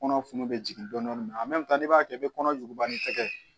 Kɔnɔ funun be jigin dɔɔni n'i b'a kɛ i be kɔnɔjuba ni tɛgɛ